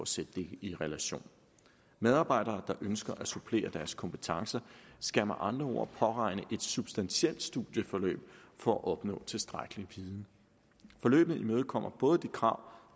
sætte det i relation medarbejdere der ønsker at supplere deres kompetencer skal med andre ord påregne et substantielt studieforløb for at opnå tilstrækkelig viden forløbene imødekommer både de krav